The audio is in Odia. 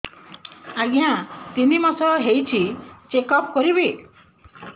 ଆଜ୍ଞା ତିନି ମାସ ହେଇଛି ଚେକ ଅପ କରିବି